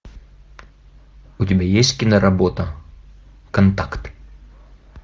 у тебя есть киноработа контакты